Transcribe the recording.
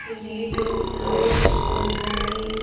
ఇది two floors ఉన్నది.